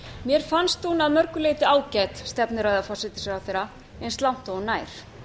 mér fannst hún að mörgu leyti ágæt stefnuræða forsætisráðherra eins langt og hún nær